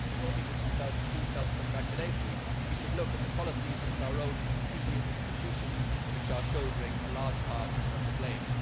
Before we become too self congratulatory we should look at the policies of our own EU institutions, which are shouldering a large part of the blame.